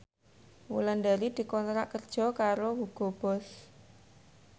Wulandari dikontrak kerja karo Hugo Boss